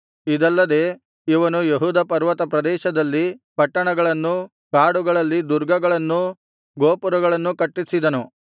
ಇದಲ್ಲದೆ ಇವನು ಯೆಹೂದ ಪರ್ವತ ಪ್ರದೇಶದಲ್ಲಿ ಪಟ್ಟಣಗಳನ್ನೂ ಕಾಡುಗಳಲ್ಲಿ ದುರ್ಗಗಳನ್ನೂ ಗೋಪುರಗಳನ್ನೂ ಕಟ್ಟಿಸಿದನು